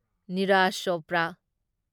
Neeraj Chopra